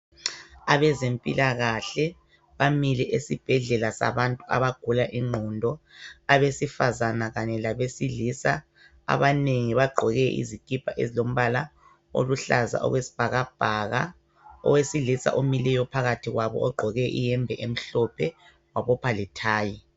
Abezempilakahle bamile esibhedlela sabantu abagula ingqondo abaesifazana kanye labesilisa. Abanengi bagqoke izikipa ezilombala oluhlaza okwesi bhakabhaka, owesilisa omileyo phakathi kwabo ogqoke iyembe emhlophe wabopha lethayi.